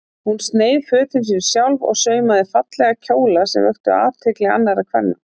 Hún sneið fötin sín sjálf og saumaði fallega kjóla sem vöktu athygli annarra kvenna.